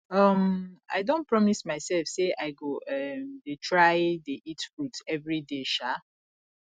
um i don promise myself say i go um dey try dey eat fruit everyday um